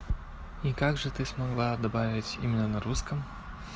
и как же ты смогла добавить именно на русском